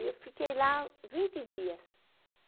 E eu fiquei lá vinte dias.